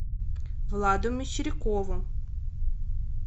владу мещерякову